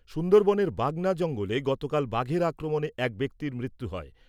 সুন্দরবনের বাগনা জঙ্গলে গতকাল বাঘের আক্রমণে এক ব্যক্তির মৃত্যু হয়।